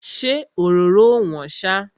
Ṣé òróró ò wọ́n ṣá?